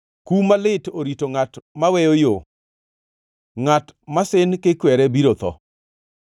Kum malit orito ngʼat maweyo yo, ngʼat masin kikwere biro tho.